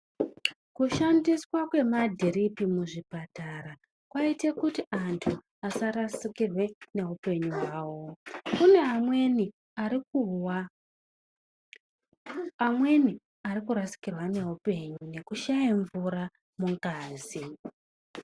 Kushandiswa kwemadhiripi muzvipatara kwaite kuti antu asarasikirwe neupenyu hwavo. Kune amweni ari kurwara ameni ari kurasikirwa ngeupenyu ngekushaya mvura mungazi.